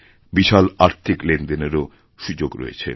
বিশাল আর্থিক লেনদেনেরও সুযোগ রয়েছে